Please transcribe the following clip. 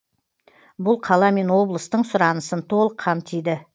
бұл қала мен облыстың сұранысын толық қамтиды